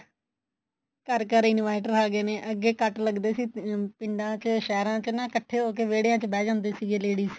ਘਰ ਘਰ inverter ਆ ਗਏ ਨੇ ਅੱਗੇ ਕੱਟ ਲੱਗਦੇ ਸੀ ਪਿੰਡਾ ਚ ਸਹਿਰਾ ਚ ਇੱਕਠੇ ਹੋ ਕੇ ਵਿਹੜੀਆ ਚ ਬਹਿ ਜਾਂਦੇ ਸੀਗੇ ladies